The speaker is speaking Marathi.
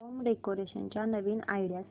होम डेकोरेशन च्या नवीन आयडीया सांग